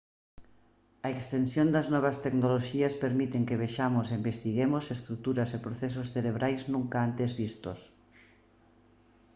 a extensión das novas tecnoloxías permiten que vexamos e investiguemos estruturas e procesos cerebrais nunca antes vistos